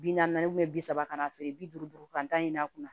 Bi naani bi saba ka na feere bi duuru duuru ka tan ɲi a kunna